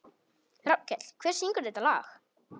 Rafnkell, hver syngur þetta lag?